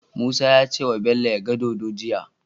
Musa yace wa Bello yaga dodo jiya